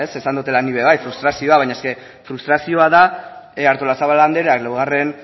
esan dudala ni be bai frustrazioa baina frustrazioa da artolazabal andreak laugarren